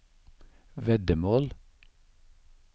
veddemål